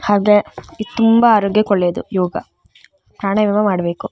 ಹಾಗೆ ಇದ್ ತುಂಬಾ ಆರೋಗ್ಯಕ್ಕೆ ಒಳ್ಳೇದು ಪ್ರಾಣಾಯಾಮ ಮಾಡಬೇಕು.